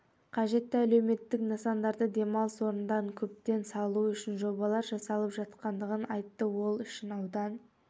қажетті әлеуметтік нысандарды демалыс орындарын көптеп салу үшін жобалар жасалып жатқандығын айтты ол үшін аудан